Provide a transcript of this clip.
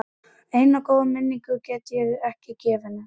Eina góða minningu get ég gefið honum.